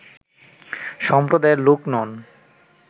সম্প্রদায়ের লোক নন